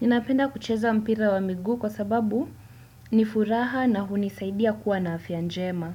Ninapenda kucheza mpira wa miguu kwa sababu nifuraha na hunisaidia kuwa na afya njema.